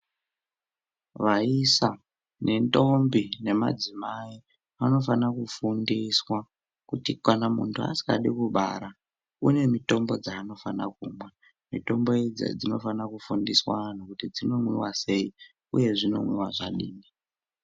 Vaisa nendombi nemadzimai vanofanira kufundiswa kuti kana muntu asingade kubara une mitombo dzanofana kumwa mitombo idzi dzinofano fundiswa antu kuti dzinomwiwa seyi uye zvinomwiwa zvadi.